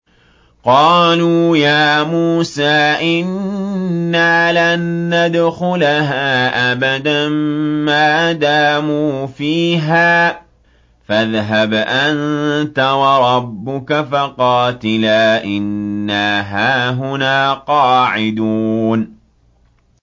قَالُوا يَا مُوسَىٰ إِنَّا لَن نَّدْخُلَهَا أَبَدًا مَّا دَامُوا فِيهَا ۖ فَاذْهَبْ أَنتَ وَرَبُّكَ فَقَاتِلَا إِنَّا هَاهُنَا قَاعِدُونَ